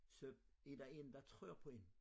Så er der en der træder på én